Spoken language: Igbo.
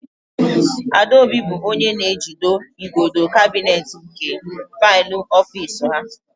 Adaobi bụ onye na-ejido igodo kabinet nke faịlụ ofiisi ha.